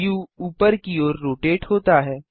view ऊपर की ओर रोटेट होता है